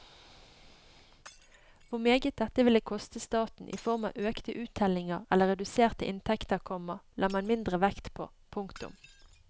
Hvor meget dette ville koste staten i form av økte uttellinger eller reduserte inntekter, komma la man mindre vekt på. punktum